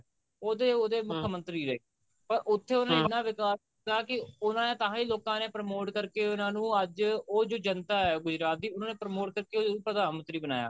ਉਹਦੇ ਉਹਦੇ ਮੁੱਖ ਮੰਤਰੀ ਰਹੇ ਪਰ ਉੱਥੇ ਉਹਨੇ ਇੰਨਾ ਵਿਕਾਸ ਕੀਤਾ ਕਿ ਉਹਨਾ ਨੇ ਤਾਹੀਂ ਲੋਕਾ ਨੇ promote ਕਰਕੇ ਉਹਨਾ ਨੂੰ ਅੱਜ ਉਹ ਜੋ ਜਨਤਾ ਐ ਗੁਜਰਾਤ ਦੀ ਉਹਨਾ ਨੇ promote ਕਰਕੇ ਪ੍ਰਧਾਨ ਮੰਤਰੀ ਬਣਾਇਆ